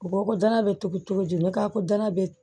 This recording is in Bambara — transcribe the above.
Bɔgɔko danaya bɛ tobi cogo di ni kakola bɛ